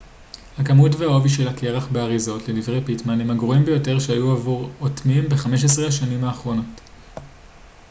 הכמות והעובי של הקרח באריזות לדברי פיטמן הם הגרועים ביותר שהיו עבור אוטמים ב-15 השנים האחרונות